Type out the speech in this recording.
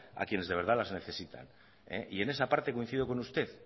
a quienes de verdad las necesitan y en esa parte coincido con usted